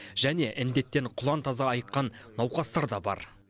және індеттен құлан таза айыққан науқастар да бар